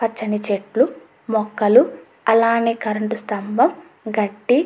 పచ్చని చెట్లు మొక్కలు అలానే కరెంటు స్తంభం గడ్డి --